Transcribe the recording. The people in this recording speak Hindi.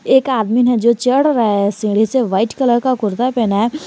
एक आदमी है जो चढ़ रहा है सीढ़ी से व्हाइट कलर का कुर्ता पहना है।